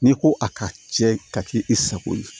N'i ko a ka cɛ ka kɛ i sago ye